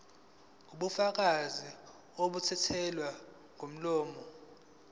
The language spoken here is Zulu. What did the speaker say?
ubufakazi obethulwa ngomlomo